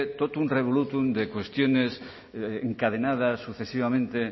totum revolutum de cuestiones encadenadas sucesivamente